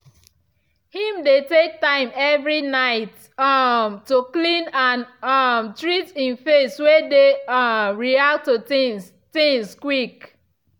him dey take time every night um to clean and um treat him face way dey um react to things things quick.